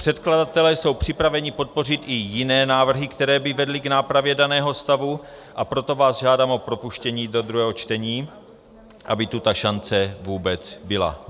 Předkladatelé jsou připraveni podpořit i jiné návrhy, které by vedly k nápravě daného stavu, a proto vás žádám o propuštění do druhého čtení, aby tu ta šance vůbec byla.